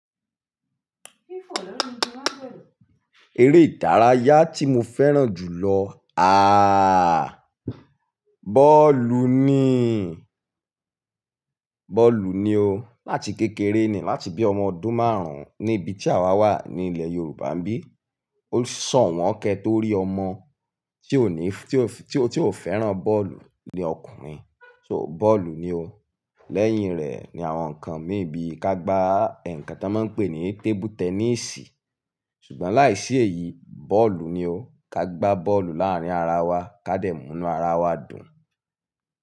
Eré ìdárayá tí mo fẹ́ràn jù lọ ààà, bọ́ọ̀lù ni. Bọ́ọ̀lù ni o. Láti kékeré ni, láti bí ọmọ ọdún márùn-ún níbi tí àwa wà ní ilẹ̀ Yorùbá bí, ó ṣọ̀wọ́n kẹ́ torí ọmọ tí ó ní, tí ó, tí ó, tí ò fẹ́ràn bọ́ọ̀lù ni ọkùnrin. So bọ́ọ̀lù ni o. Lẹ́yìn rẹ̀ ni àwọn nǹkan mí bí ka gba ẹ̀yà ǹkan tí wọ́n ń pè ní tébù tẹnísì. Sugbọn láìsí èyí, bọ́ọ̀lù ni o. Ka gba bọ́ọ̀lù láàárín ara wa, ká dẹ̀mú inú ara wa dùn.